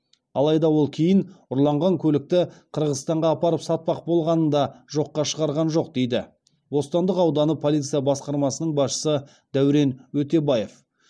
алайда ол кейін ұрланған көлікті қырғызстанға апарып сатпақ болғанын да жоққа шығарған жоқ дейді бостандық ауданы полиция басқармасының басшысы дәурен өтебаев